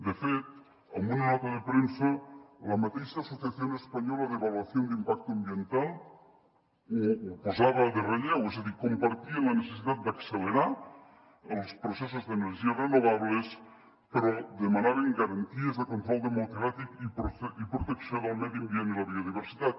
de fet en una nota de premsa la mateixa asociación española de evaluación de impacto ambiental ho posava en relleu és a dir compartien la necessitat d’accelerar els processos d’energies renovables però demanaven garanties de control democràtic i protecció del medi ambient i la biodiversitat